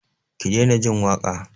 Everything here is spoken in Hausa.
Ki daina jin waƙa!